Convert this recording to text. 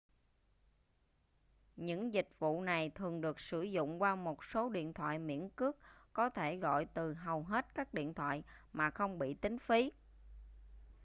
những dịch vụ này thường được sử dụng qua một số điện thoại miễn cước có thể gọi từ hầu hết các điện thoại mà không bị tính phí